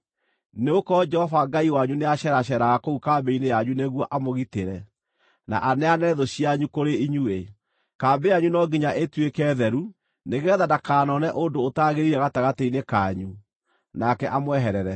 Nĩgũkorwo Jehova Ngai wanyu nĩaceraceeraga kũu kambĩ-inĩ yanyu nĩguo amũgitĩre na aneane thũ cianyu kũrĩ inyuĩ. Kambĩ yanyu no nginya ĩtuĩke theru, nĩgeetha ndakanoone ũndũ ũtagĩrĩire gatagatĩ-inĩ kanyu, nake amweherere.